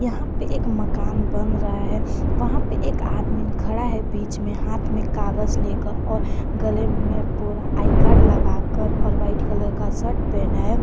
यहां पे एक मकान बन रहा है वहां पे एक आदमी खड़ा है बीच में हाथ में कागज लेकर और गले में पूरा आई कार्ड लगाकर और वाइट कलर का शर्ट पहना है।